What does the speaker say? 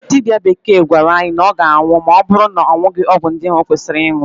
Dibịa bekee gwara ya na ọ ga-anwụ ma ọ bụrụ na ọ ṅụghị ọgụ ndị o kwesịrị ịṅụ.